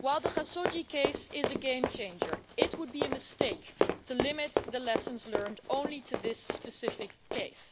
While the Khashoggi case is a game changer, it would be a mistake to limit the lessons learned only to this specific case.